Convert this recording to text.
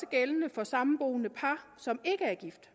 gældende for samboende par som ikke er gift